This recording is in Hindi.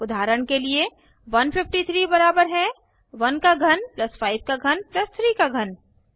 उदाहरण के लिए 153 बराबर है 1 का घन 5 का घन 3 का घन